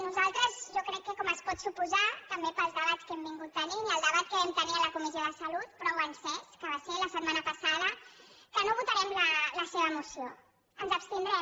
nosaltres jo crec que com es pot suposar també pels debats que hem tingut i el debat que vam tenir a la comissió de salut prou encès que va ser la setmana passada no votarem la seva moció ens hi abstindrem